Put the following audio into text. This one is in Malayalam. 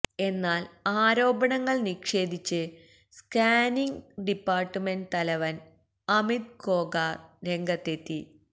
എന്നാല് ആരോപണങ്ങള് നിഷേധിച്ച് സ്കാനിങ് ഡിപ്പാര്ട്ട്മെന്റ് തലവന് അമിത് ഖോകാര് രംഗത്തെത്തി